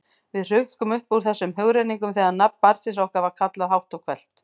Við hrukkum upp úr þessum hugrenningum þegar nafn barnsins okkar var kallað hátt og hvellt.